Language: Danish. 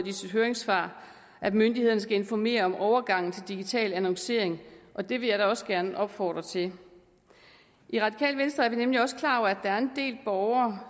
i sit høringssvar at myndighederne skal informere om overgangen til digital annoncering og det vil jeg da også gerne opfordre til i radikale venstre er vi nemlig også klar over at der er en del borgere